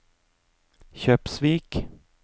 Kjøpsvik